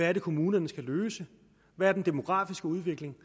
er kommunerne skal løse hvad den demografiske udvikling